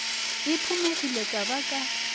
e phumegile ka ba ka